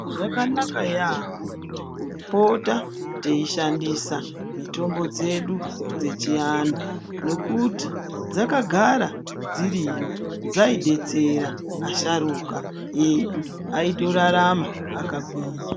Zvakanaka yaamho kupota teishandisa mitombo dzedu dzechianhu nokuti dzakagara dziriyo. Dzaidetsera asharuka edu aitorarama akagwinya.